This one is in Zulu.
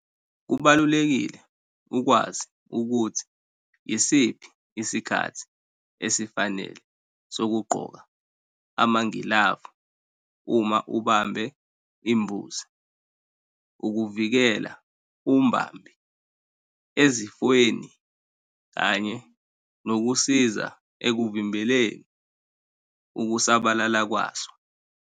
Kubalulekile ukwazi ukuthi yisiphi isikhathi esifanele sokugqoka amagilavu uma ubambe imbuzi ukuvikela umbambi ezifweni kanye nokusiza ekuvimbeleni ukusabalala kwaso.